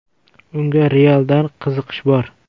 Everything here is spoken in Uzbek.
Unga “Real”dan qiziqish bor.